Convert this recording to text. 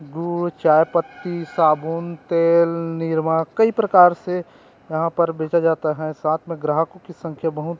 गुड़ चायपत्ती साबुन तेल निरमा कई प्रकार से यहाँ पर बचा जाता हे साथ में ग्राहकों की संख्या बहुत--